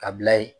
Ka bila yen